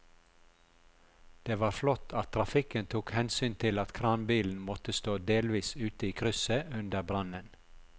Det var flott at trafikken tok hensyn til at kranbilen måtte stå delvis ute i krysset under brannen.